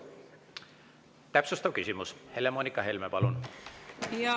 Täpsustav küsimus, Helle-Moonika Helme, palun!